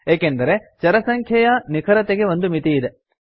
ಏಕೆಂದರೆ ಚರ ಸಂಖ್ಯೆಯ ನಿಖರತೆಗೆ ಒಂದು ಮಿತಿಯಿದೆ